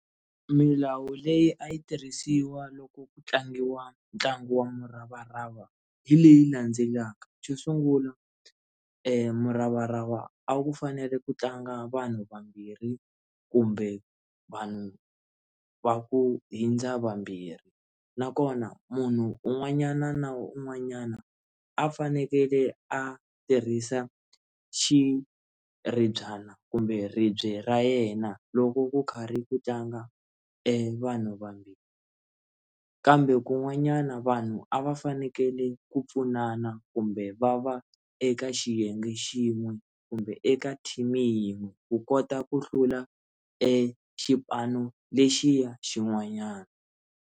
Milawu leyi a yi tirhisiwa loko ku tlangiwa ntlangu wa muravarava hi leyi landzelaka, xo sungula muravarava a wu fanele ku tlanga vanhu vambirhi kumbe vanhu va ku hundza vambirhi nakona munhu un'wanyana na wun'wanyana a fanekele a tirhisa xiribyana kumbe ribye ra yena loko ku karhi ku tlanga vanhu vambirhi kambe kun'wanyana vanhu a va fanekele ku pfunana kumbe va va eka xiyenge xin'we kumbe eka team yin'we wu kota ku hlula exipano lexiya xin'wanyana.